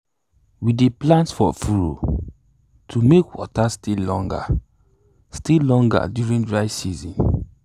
we dey plant for furrows to make water stay longer stay longer during dry season.